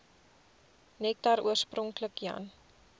nektar oorspronklik jan